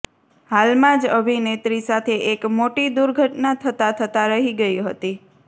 હાલમાં જ અભિનેત્રી સાથે એક મોટી દુર્ઘટના થતા થતા રહી ગઇ હતી